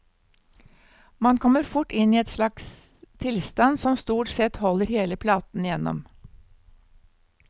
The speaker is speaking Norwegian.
Man kommer fort inn i en slags tilstand som stort sett holder hele platen igjennom.